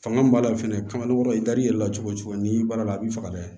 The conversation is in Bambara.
Fanga b'a la fɛnɛ nɔgɔ i da l'i yɛrɛ la cogo cogo n'i baara la a b'i faga dɛ